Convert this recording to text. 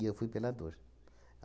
E eu fui pela dor.